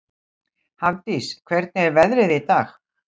Hafdís, hvernig er veðrið í dag?